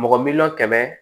Mɔgɔ miliyɔn kɛmɛ